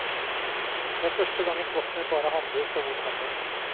Det er første gang en flokk med bare hanndyr skal bo sammen.